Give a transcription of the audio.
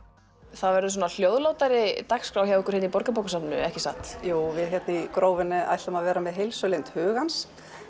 það verður hljóðlátari dagskrá hérna hjá ykkur í Borgarbókasafni ekki satt jú við hér í Grófinni ætlum að vera með heilsulind hugans